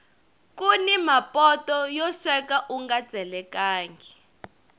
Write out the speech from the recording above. kuni mapoto yo sweka unga tselekangi